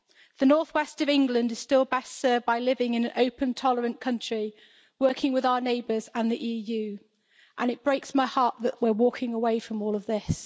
The north west of England is still best served by living in an open, tolerant country, working with our neighbours and the EU, and it breaks my heart that we're walking away from all of this.